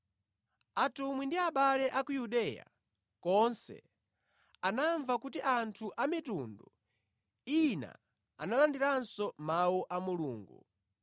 Atumwi ndi abale a ku Yudeya konse anamva kuti anthu a mitundu ina analandiranso Mawu a Mulungu.